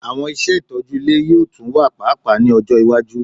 Awọn iṣẹ itọju ile yoo tun wa paapaa ni ọjọ iwaju